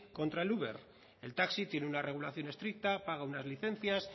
contra el uber el taxi tiene una regulación estricta paga unas licencias